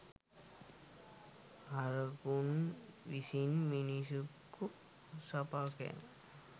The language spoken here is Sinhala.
හරකුන් විසින් මිනිසෙකු සපා කෑම